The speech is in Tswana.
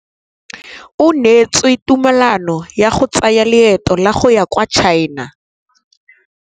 O neetswe tumalanô ya go tsaya loetô la go ya kwa China.